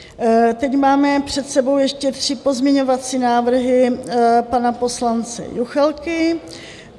Teď máme před sebou ještě tři pozměňovací návrhy pana poslance Juchelky.